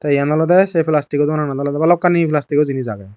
te eyan olode se plasticgo doganot olode balukani plastigo jinich agey.